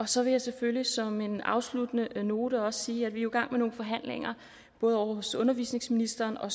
så vil jeg selvfølgelig som en afsluttende note også sige at vi jo gang med nogle forhandlinger ovre hos undervisningsministeren og